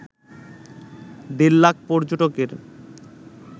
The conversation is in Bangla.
দেড় লাখ পর্যটকের